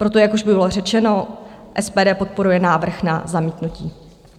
Proto, jak už bylo řečeno, SPD podporuje návrh na zamítnutí.